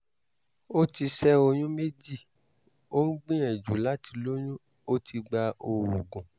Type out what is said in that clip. ó ti ṣẹ́ oyún méjì ó ń gbìyànjú láti lóyún ó ti gba oògùn